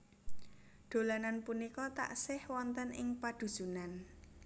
Dolanan punika taksih wonten ing padhusunan